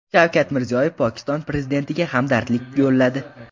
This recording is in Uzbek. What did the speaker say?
Shavkat Mirziyoyev Pokiston prezidentiga hamdardlik yo‘lladi.